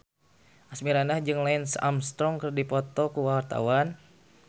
Asmirandah jeung Lance Armstrong keur dipoto ku wartawan